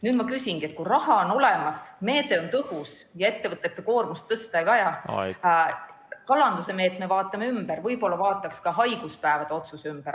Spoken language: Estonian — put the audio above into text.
Nüüd ma küsingi, et kui raha on olemas, meede on tõhus ja ettevõtete koormust tõsta ei ole vaja, siis võib-olla vaataks lisaks kalanduse meetmele ka haiguspäevade otsuse üle?